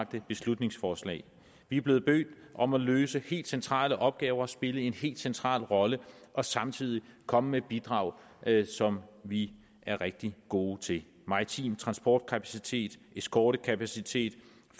beslutningsforslag vi er blevet bedt om at løse helt centrale opgaver og spille en helt central rolle og samtidig komme med bidrag som vi er rigtig gode til maritim transportkapacitet eskortekapacitet